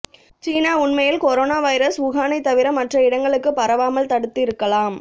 சீனா உண்மையில் corona virus வுஹானை தவிர மற்ற இடங்களுக்கு பரவாமல் தடுத்து இருக்கலாம்